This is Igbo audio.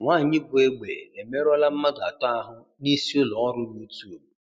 Nwanyị bụ egbe emerụọla mmadụ atọ ahụ nisi ụlọ ọrụ YouTube